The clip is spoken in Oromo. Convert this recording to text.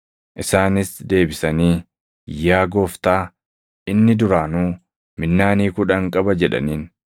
“Isaanis deebisanii, ‘Yaa Gooftaa, inni duraanuu minnaanii kudhan qaba’ jedhaniin.